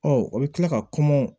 Ɔ o bɛ kila ka